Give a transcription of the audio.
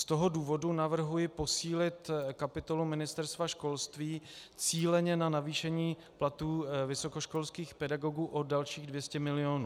Z toho důvodu navrhuji posílit kapitolu Ministerstva školství cíleně na navýšení platů vysokoškolských pedagogů o dalších 200 milionů.